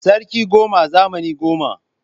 Sarki goma, zamani goma